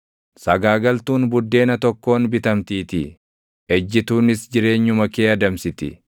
Sagaagaltuun buddeena tokkoon bitamtiitii; ejjituunis jireenyuma kee adamsiti.